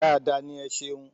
Dáadáa ní. Ẹ ṣeun..